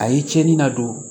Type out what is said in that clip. A ye cɛnni na don